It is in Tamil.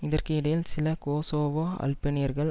இதற்கு இடையில் சில கொசோவோ அல்பேனியர்கள்